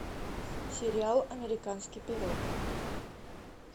сериал американский пирог